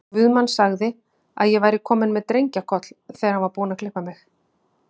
Guðmann sagði að ég væri komin með drengjakoll, þegar hann var búinn að klippa mig.